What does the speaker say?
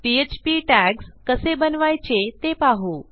PHP tags कसे बनवायचे ते पाहू